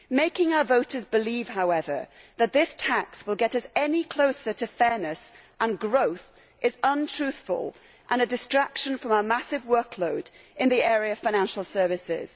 Making our voters believe, however, that this tax will get us any closer to fairness and growth is untruthful and a distraction from our massive workload in the area of financial services.